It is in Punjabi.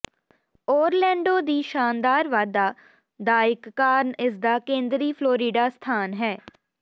ਓਰਲੈਂਡੋ ਦੀ ਸ਼ਾਨਦਾਰ ਵਾਧਾ ਦਾ ਇਕ ਕਾਰਨ ਇਸਦਾ ਕੇਂਦਰੀ ਫਲੋਰੀਡਾ ਸਥਾਨ ਹੈ